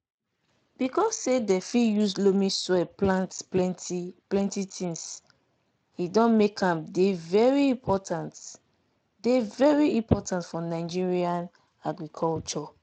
because say dem fit use loamy soil plant plenty plenty things e don make am dey very important dey very important for nigerian agriculture.